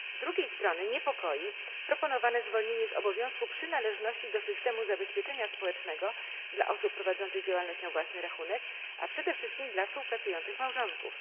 Z drugiej strony niepokoi proponowane zwolnienie z obowiązku przynależności do systemu zabezpieczenia społecznego dla osób prowadzących działalność na własny rachunek, a przede wszystkim dla współpracujących małżonków.